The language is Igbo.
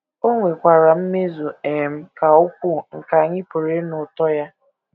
O nwekwara mmezu um ka ukwuu nke anyị pụrụ ịnụ ụtọ ya.